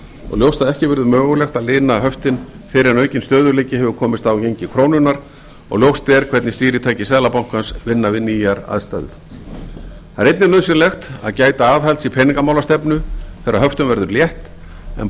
og ljóst að ekki verði mögulegt að lina höftin fyrr en aukinn stöðugleiki hefur komist á í gengi krónunnar og ljóst er hvernig stýritæki seðlabankans vinna við nýjar aðstæður það er einnig nauðsynlegt að gæta aðhalds í peningamálastefnu þegar höftum verður létt en